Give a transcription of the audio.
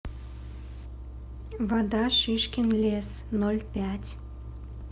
вода шишкин лес ноль пять